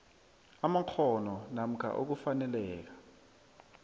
amakghono namkha ukufaneleka